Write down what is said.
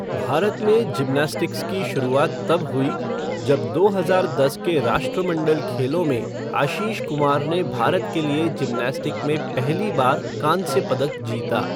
भारत में जिमनास्टिक्स की शुरुआत तब हुई, जब दो हजार दस के राष्ट्रमंडल खेलों में आशीष कुमार ने भारत के लिए जिम्नास्टिक में पहली बार कांस्य पदक जीता।